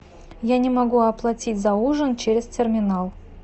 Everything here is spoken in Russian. я не могу оплатить за ужин через терминал